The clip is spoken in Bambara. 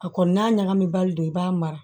A kɔni n'a ɲagamibali don i b'a mara